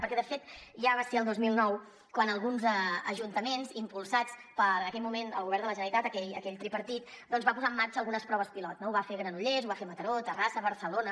perquè de fet ja va ser el dos mil nou quan alguns ajuntaments impulsats en aquell moment pel govern de la generalitat aquell tripartit van posar en marxa algunes proves pilot no ho va fer granollers ho va fer mataró terrassa barcelona